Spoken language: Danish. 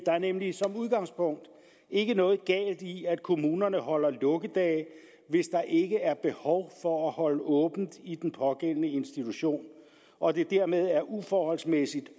er nemlig som udgangspunkt ikke noget galt i at kommunerne holder lukkedage hvis der ikke er behov for at holde åbent i den pågældende institution og det dermed er uforholdsmæssigt